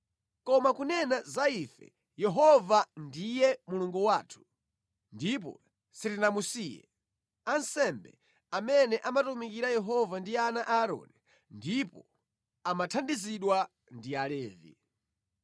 “Koma kunena za ife, Yehova ndiye Mulungu wathu, ndipo sitinamusiye. Ansembe amene amatumikira Yehova ndi ana a Aaroni ndipo amathandizidwa ndi Alevi.